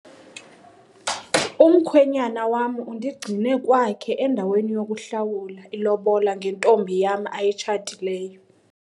Umkhwenyana wam undigcine kwakhe endaweni yokuhlawula ilobola ngentombi yam ayitshatileyo.